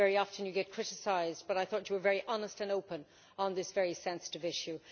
Very often you get criticised, but I thought you were very honest and open on this very sensitive issue.